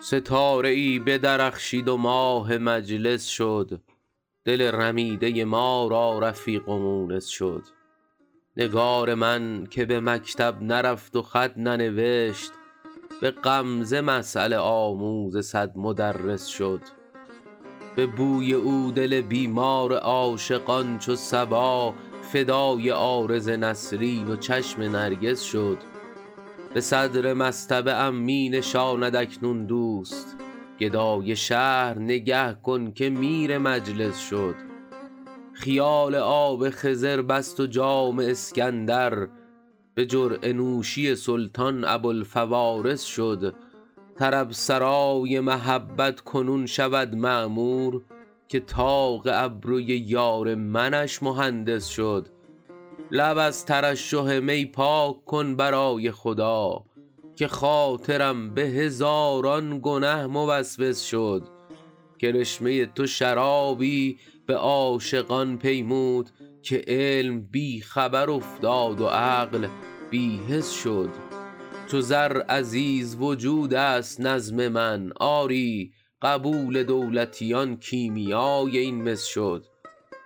ستاره ای بدرخشید و ماه مجلس شد دل رمیده ما را رفیق و مونس شد نگار من که به مکتب نرفت و خط ننوشت به غمزه مسأله آموز صد مدرس شد به بوی او دل بیمار عاشقان چو صبا فدای عارض نسرین و چشم نرگس شد به صدر مصطبه ام می نشاند اکنون دوست گدای شهر نگه کن که میر مجلس شد خیال آب خضر بست و جام اسکندر به جرعه نوشی سلطان ابوالفوارس شد طرب سرای محبت کنون شود معمور که طاق ابروی یار منش مهندس شد لب از ترشح می پاک کن برای خدا که خاطرم به هزاران گنه موسوس شد کرشمه تو شرابی به عاشقان پیمود که علم بی خبر افتاد و عقل بی حس شد چو زر عزیز وجود است نظم من آری قبول دولتیان کیمیای این مس شد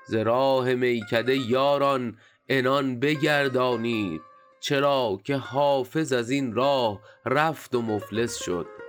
ز راه میکده یاران عنان بگردانید چرا که حافظ از این راه رفت و مفلس شد